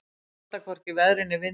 Að halda hvorki veðri né vindi